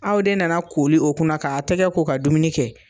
Aw de nana kooli o kunna k'a tɛgɛ ko ka dumuni kɛ